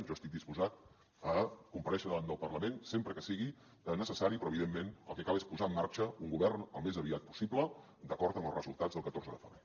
jo estic disposat a comparèixer davant del parlament sempre que sigui necessari però evidentment el que cal és posar en marxa un govern al més aviat possible d’acord amb els resultats del catorze de febrer